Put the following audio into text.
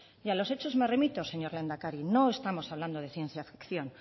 y a los hechos me remito señor lehendakari no estamos hablando de ciencia ficción